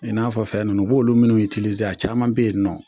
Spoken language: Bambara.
I n'a fɔ fɛn ninnu u b'olu minnu caman be yen nin nɔ